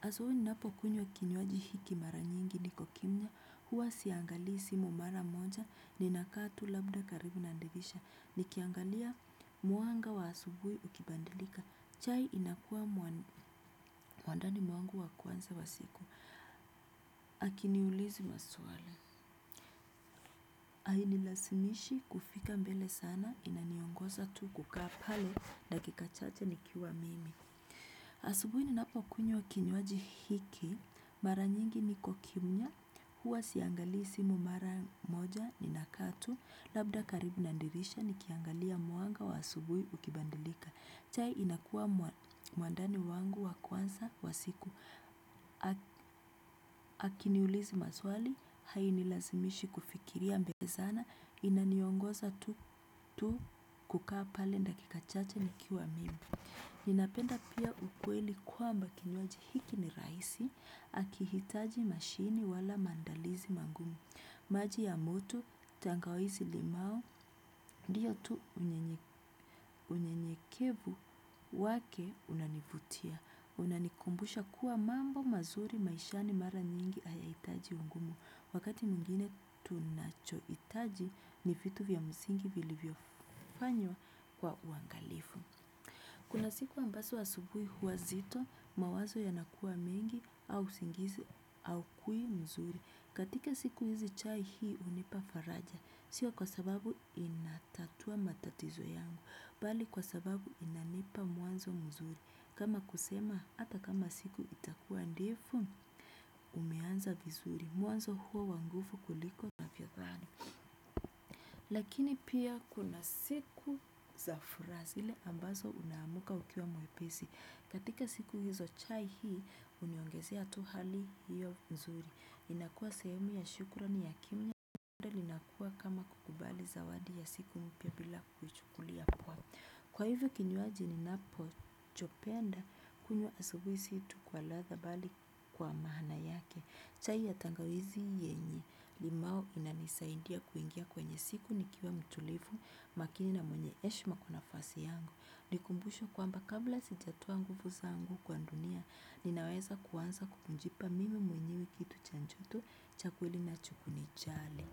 Asubui ninapo kunywa kinywaji hiki mara nyingi niko kimya. Huwa siangali simu mara moja. Ninakaa tu labda karibu na dirisha. Nikiangalia mwanga wa asubui ukibadilika. Chai inakua mwandani mwangu wa kwanza wa siku hakiniulizi maswali. Hainilazimishi kufika mbele sana. Inaniongoza tu kukaa pale dakika chache nikiwa mimi. Asubui ninapokunywa kinywaji hiki, mara nyingi niko kimya, huwa siangali simu mara moja inakaa tu, labda karibu na dirisha nikiangalia mwanga wa asubui ukibadilika. Chai, inakua mwandani wangu wa kwanza wa siku. Hakiniulizi maswali, hainilazimishi kufikiria mbele sana, inaniongoza tu kukaa pale dakika chache nikiwa mimi. Ninapenda pia ukweli kwamba kinywaji hiki ni rahisi akihitaji mashini wala maandalizi magumu. Maji ya muto tangawizi limau ndio tu unyenyekevu wake unanivutia. Unanikumbusha kuwa mambo mazuri maishani mara nyingi haya hitaji ungumu. Wakati mwingine tunacho hitaji ni vitu vya msingi vilivyofanywa kwa uangalifu. Kuna siku ambazo asubui huwa nzito mawazo yanakua mingi au usingizi hau kuwi mzuri. Katika siku hizi chai hii hunipa faraja. Sio kwa sababu inatatua matatizo yangu. Bali kwa sababu inanipa mwanzo mzuri. Kama kusema ata kama siku itakuwa ndefu umeanza vizuri. Mwanzo huu wanguvu kuliko. Lakini pia kuna siku za furaha zile ambazo unaamka ukiwa mwepesi. Katika siku hizo chai hii, huniongezea tu hali hiyo nzuri. Inakua sehemu ya shukrani ya kiumbe linakua kama kukubali zawadi ya siku mpya bila kukuchukulia poa. Kwa hivyo kinywaji ninapo chopenda kunywa asubui si tu kwa ladha bali kwa maana yake. Chai ya tangawizi yenye limau inanisaidia kuingia kwenye siku nikiwa mtulivu makini na mwenye heshima kwa nafasi yangu. Nikumbusho kwamba kabla sijatoa nguvu zangu kwa dunia, ninaweza kuanza kujipa mimi mwenyewe kitu cha joto cha kweli na cha kuni jali.